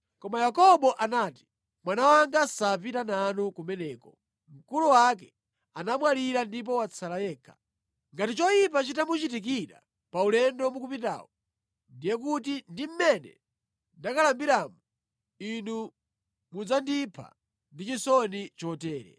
Koma Yakobo anati, “Mwana wanga sapita nanu kumeneko; mkulu wake anamwalira ndipo watsala yekha. Ngati choyipa chitamuchitikira pa ulendo mukupitawu, ndiye kuti ndi mmene ndakalambiramu inu mudzandipha ndi chisoni chotere.”